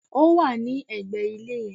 Ó wà légbè ilé náà